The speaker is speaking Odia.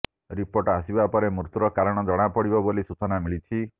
ରିପୋର୍ଟ ଆସିବା ପରେ ମୃତ୍ୟୁର କାରଣ ଜଣାପଡ଼ିବ ବୋଲି ସୂଚନା ମିଳିଛି